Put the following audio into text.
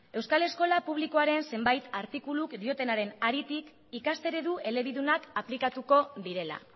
euskal eskola publikoaren zenbait artikulu diotenaren haritik ikasteredu elebidunak aplikatuko direla